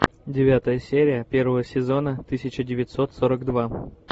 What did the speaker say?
девятая серия первого сезона тысяча девятьсот сорок два